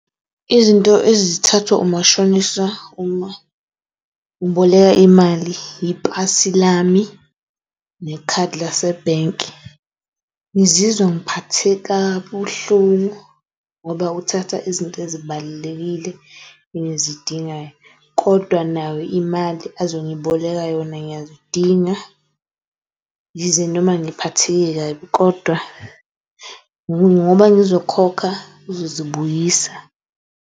Izinto ezathathwa umashonisa uma uboleka imali ipasi lami nekhadi lase bhenki. Ngizizwa engiphathe kabuhlungu, ngoba uthatha izinto ezibalulekile engizidingayo kodwa nayo imali ozongiboleka yona ngiyazidinga. Yize noma ngiphatheke kabi kodwa ngoba ngizokhokha uzozibuyisa.